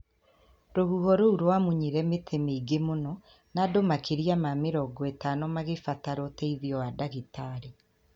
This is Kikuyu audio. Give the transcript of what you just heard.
Rũhuho rũu rĩamunyire mĩtĩ mĩingĩ mũno, na andũ makĩria ma mĩrongo ĩtano makĩbatara ũteithio wa ndagĩtarĩ.